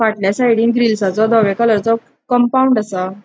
फाटल्या साइडीन ग्रिलसाचो धव्या कलरचो कंपाऊंड असा.